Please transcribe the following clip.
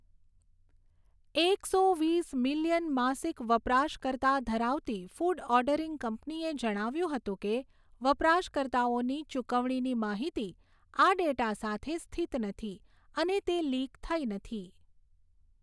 એકસો વીસ મિલિયન માસિક વપરાશકર્તા ધરાવતી ફૂડ ઓર્ડરિંગ કંપનીએ જણાવ્યુંં હતું કે, વપરાશકર્તાઓની ચુકવણીની માહિતી આ ડેટા સાથે સ્થિત નથી અને તે લીક થઈ નથી.